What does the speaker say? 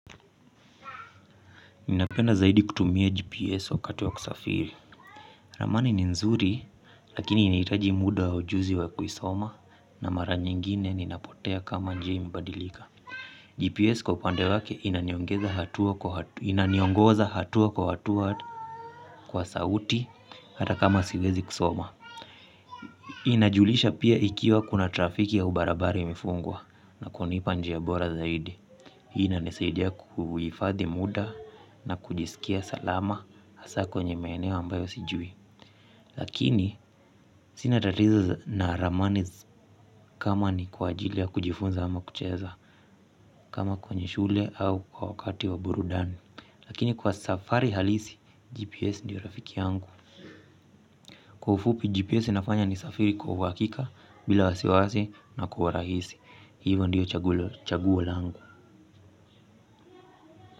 Ninapenda zaidi kutumia GPS wakati wa kusafiri. Ramani ni nzuri, lakini inahitaji muda wa ujuzi wa kuisoma, na mara nyingine ninapotea kama njia imebadilika. GPS kwa upande wake inaniongoza hatua kwa hatua kwa sauti hata kama siwezi kusoma. Inajulisha pia ikiwa kuna trafiki au barabara imefungwa, na kunipa njia bora zaidi. Hii inanisaidia kuhifadhi muda na kujisikia salama hasa kwenye maeneo ambayo sijui. Lakini sina tatizo na ramani kama ni kwa ajili ya kujifunza ama kucheza kama kwenye shule au kwa wakati wa burudani. Lakini kwa safari halisi GPS ndiyo rafiki yangu. Kwa ufupi GPS inafanya nisafiri kwa uhakika bila wasiwasi na kwa urahisi. Hivo ndiyo chaguo langu.